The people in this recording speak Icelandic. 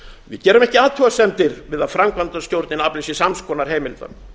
við gerum ekki athugasemdir við að framkvæmdastjórnin afli sér sams konar heimilda